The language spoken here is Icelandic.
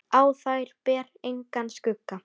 Á þær ber engan skugga.